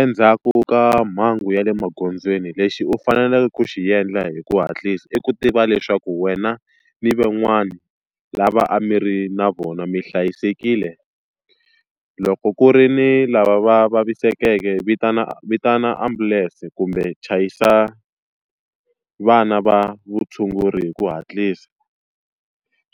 Endzhaku ka mhangu ya le magondzweni lexi u faneleke ku xi endla hi ku hatlisa i ku tiva leswaku wena ni van'wana lava a mi ri na vona mi hlayisekile. Loko ku ri ni lava va vavisekeke vitana vitana ambulance kumbe chayisa vana va vutshunguri hi ku hatlisa.